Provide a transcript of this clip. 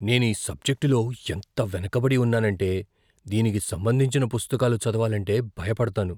నేను ఈ సబ్జెక్టులో ఎంత వెనుకబడి ఉన్నానంటే, దీనికి సంబంధించిన పుస్తకాలు చదవాలంటే భయపడతాను.